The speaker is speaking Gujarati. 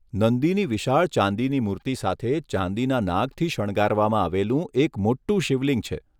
નંદીની વિશાળ ચાંદીની મૂર્તિ સાથે ચાંદીના નાગથી શણગારવામાં આવેલું એક મોટું શિવલિંગ છે.